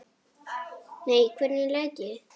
Nei, hvernig læt ég?